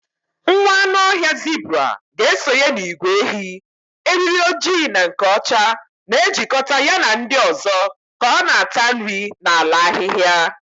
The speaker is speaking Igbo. Nwa anụ ọhịa zebura ga-esonye n'ìgwè ehi, eriri ojii na nke ọcha na-ejikọta ya na ndị ọzọ ka ọ na-ata nri n'ala ahịhịa.